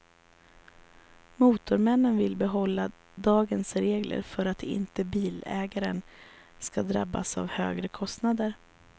Motormännen vill behålla dagens regler för att inte bilägaren ska drabbas av högre kostnader.